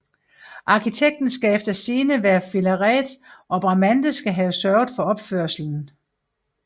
Arkitekten skal eftersigende være Filarete og Bramante skal have sørget for opførslen